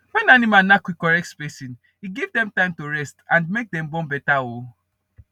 when animal dem knack with correct spacing e give dem time to rest and make dem born better um